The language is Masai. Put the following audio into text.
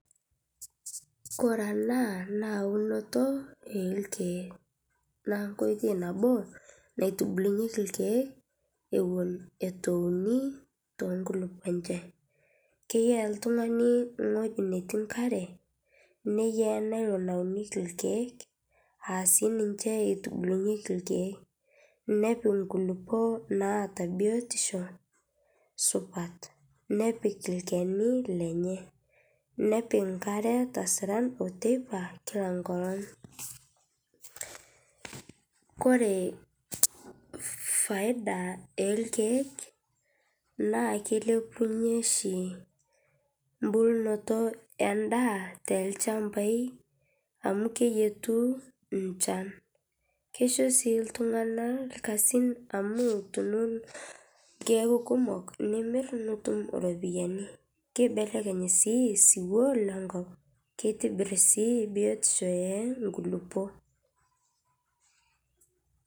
Kore ena na eunoto orkiek na enkoitoi nabo naitubulunyeki irkiek atan itueyai nkululuok enye keya oltungani ewoi natii enkare aa sininche itubilunyeki irkiek nepik nkululuok naata biotisho supat nepi olchanu lenye nepik nkariak tesiran kila enkolong ore faida orkiek na lilepunye oahibembulunoto endaa tolchambai amu keyieutu enchan keaku kimok nimir nitum iropiyani kibelekeny si osiwuo lenkop kitobir biotisho onkulukuok.